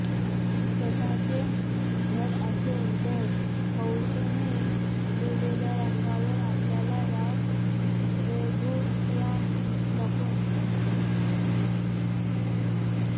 स्वतःचे घर असेन तर हौशेने दिलेल्या रंगावर आपल्याला ह्या रेघोट्या नको असतात